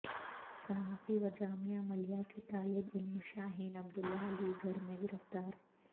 صحافی وجامعہ ملیہ کے طالب علم شاہین عبداللہ علی گڑھ میں گرفتار